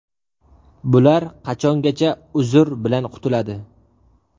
Bular qachongacha ‘uzr’ bilan qutuladi.